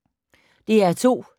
DR2